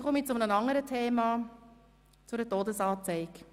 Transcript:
Nun komme ich zu einem anderen Thema, zu einer Todesanzeige.